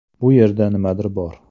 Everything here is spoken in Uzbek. Bu yerda nimadir bor”.